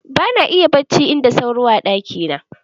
Ba na iya barci in da sauro a ɗaki na